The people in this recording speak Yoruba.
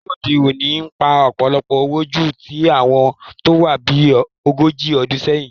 Àwọn òṣèré òde òní ń pa ọ̀pọ̀lọpọ̀ owó ju ti àwọn tó wá bí ogójì ọdún sẹ́yìn